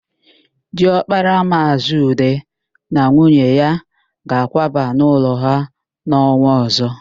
Diọkpara Maazị Ude na nwunye ya ga-akwaba n'ụlọ ha n'ọnwa ọ̀zọ́.